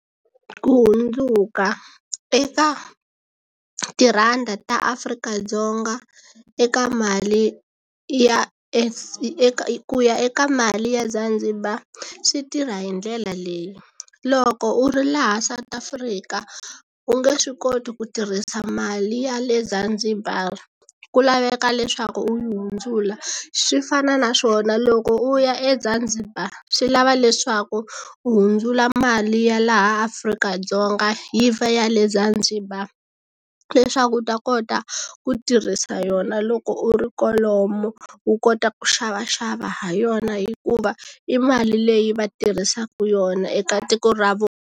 Ku hundzuka eka tirhandi ta Afrika-Dzonga eka mali ya ku ya eka mali ya Zanzibar swi tirha hi ndlela leyi loko u ri laha South Africa u nge swi koti ku tirhisa mali ya le Zanzibar ku laveka leswaku u yi hundzula swi fana na swona loko u ya eZanzibar swi lava leswaku hundzula mali ya laha Afrika-Dzonga yi va ya le Zanzibar leswaku u ta kota ku tirhisa yona loko u ri kwalomu u kota ku xavaxava ha yona hikuva i mali leyi va tirhisaka yona eka tiko ra .